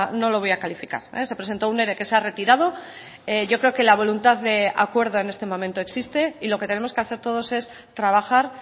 no lo voy a calificar se presentó un ere que se ha retirado yo creo que la voluntad de acuerdo en este momento existe y lo que tenemos que hacer todos es trabajar